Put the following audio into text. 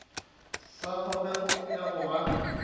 sa kgogego ya go ba